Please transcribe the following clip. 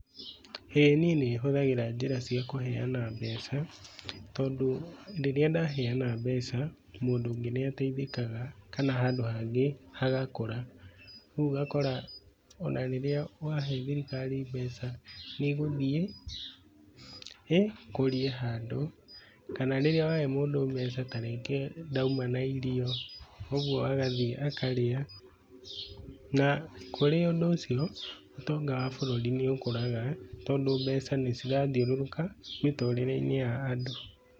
Ĩĩ niĩ nĩhũthagĩra njĩra cia kũheana mbeca. Tondũ rĩrĩa ndaheana mbeca mũndũ ũngĩ nĩateithĩkaga kana handũ hangĩ hagakũra. ũguo ũgakora ona rĩrĩa wahee thirikari mbeca nĩ ĩgũthiĩ ĩkũrie handũ kana rĩrĩa wahee mũndũ mbeca na rĩngĩ ndauma na irio, ũguo agathiĩ akarĩa na kũrĩ ũndũ ũcio, ũtonga wa bũrũri nĩ ũkũraga tondũ mbeca nĩcirathiũrũrũka mĩtũrĩre-inĩ ya andũ.